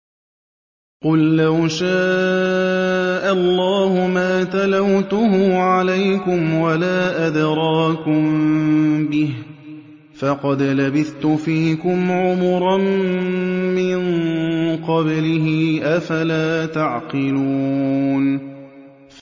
قُل لَّوْ شَاءَ اللَّهُ مَا تَلَوْتُهُ عَلَيْكُمْ وَلَا أَدْرَاكُم بِهِ ۖ فَقَدْ لَبِثْتُ فِيكُمْ عُمُرًا مِّن قَبْلِهِ ۚ أَفَلَا تَعْقِلُونَ